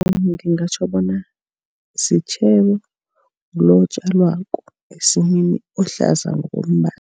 Ngingatjho bona sitjhebo lo otjalwako esimini ohlaza ngokombala.